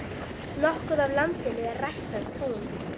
Nokkuð af landinu er ræktað tún.